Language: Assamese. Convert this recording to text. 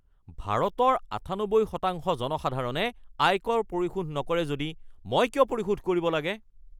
ভাৰতৰ ৯৮% জনসাধাৰণে আয়কৰ পৰিশোধ নকৰে যদি মই কিয় পৰিশোধ কৰিব লাগে?